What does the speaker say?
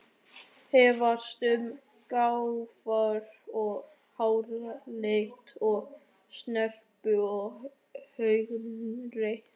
Efast um gáfur og háralit og snerpu og augnlit.